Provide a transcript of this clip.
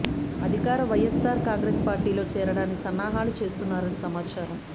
అధికార వైఎస్ఆర్ కాంగ్రెస్ పార్టీలో చేరడానికి సన్నాహాలు చేస్తున్నారని సమాచారం